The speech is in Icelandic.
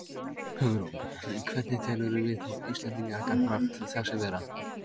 Hugrún: Hvernig telurðu viðhorf Íslendinga gagnvart þessu vera?